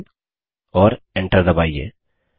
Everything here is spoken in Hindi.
इद और Enter दबाइए